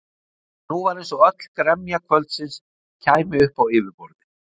En nú var eins og öll gremja kvöldsins kæmi upp á yfirborðið.